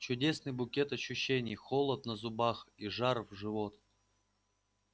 чудесный букет ощущений холод на зубах и жар в живот